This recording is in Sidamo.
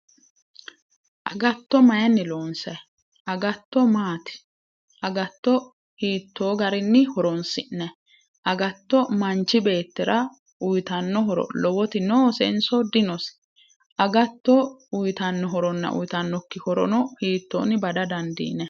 Agatto mayiinni loonsayi agatto maati agatto hiitto garinni horonsi'nayi agatto manchi beettira uyitanno horo lowoti nosenso dinose agato uyitanno horonna uyitannokki horono hitoonni bada dandiinayi